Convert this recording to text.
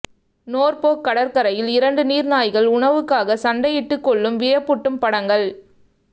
Norfolk கடற்கரையில் இரண்டு நீர் நாய்கள் உணவுக்காக சண்டையிட்டு கொள்ளும் வியப்பூட்டும் படங்கள்